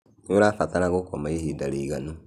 Nĩũrabatara gũkoma ihĩnda rĩiganũ